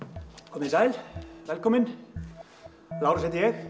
komið þið sæl velkomin Lárus heiti ég